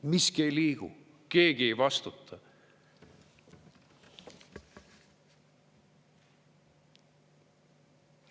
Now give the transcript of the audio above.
Miski ei liigu, keegi ei vastuta.